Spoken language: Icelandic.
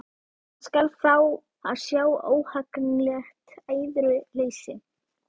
Hann skal fá að sjá óhagganlegt æðruleysi!